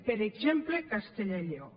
per exemple castella i lleó